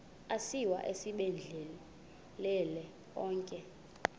asiwa esibhedlele onke